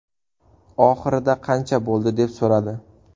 Oxirida qancha bo‘ldi deb so‘radi.